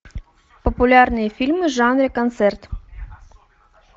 популярные фильмы в жанре концерт